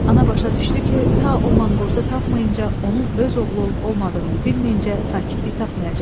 Ana başa düşdü ki, ta o manqurtu tapmayınca, onun öz oğlu olub olmadığını bilməyincə sakitlik tapmayacaq.